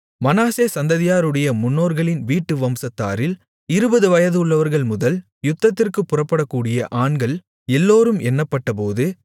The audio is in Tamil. மனாசே சந்ததியாருடைய முன்னோர்களின் வீட்டு வம்சத்தாரில் இருபது வயதுள்ளவர்கள்முதல் யுத்தத்திற்குப் புறப்படக்கூடிய ஆண்கள் எல்லோரும் எண்ணப்பட்டபோது